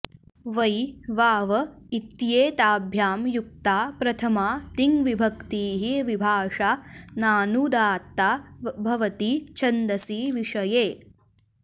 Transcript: वै वाव इत्येताभ्यां युक्ता प्रथमा तिङ्विभक्तिः विभाषा नानुदात्ता भवति छन्दसि विषये